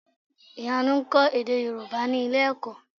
Ìyanu ń kọ́ èdè Yorùbá ní ilé-ẹ̀kọ́.